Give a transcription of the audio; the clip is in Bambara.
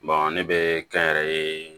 ne bɛ kɛnyɛrɛye